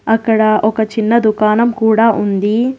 అక్కడ ఒక చిన్న దుకాణం కూడా ఉంది.